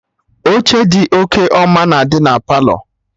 Oche dị oke ọma na-adị na Palọ